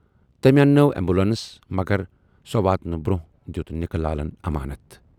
تٔمۍ انٕنٲو ایمبولینس مگر سۅ واتنہٕ برونہےٕ دِٮُ۪ت نِکہٕ لالن امانتھ۔